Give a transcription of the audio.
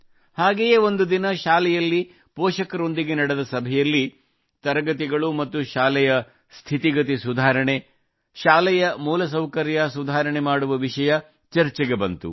ಹಾಗೆಯೇ ಒಂದು ದಿನ ಶಾಲೆಯಲ್ಲಿ ಪೋಷಕರೊಂದಿಗೆ ನಡೆದ ಸಭೆಯಲ್ಲಿ ತರಗತಿಗಳು ಮತ್ತು ಶಾಲೆಯ ಸ್ಥಿತಿಗತಿ ಸುಧಾರಣೆ ಶಾಲೆಯ ಮೂಲಸೌಕರ್ಯ ಸುಧಾರಣೆ ಮಾಡುವ ವಿಷಯ ಚರ್ಚೆಗೆ ಬಂದಿತು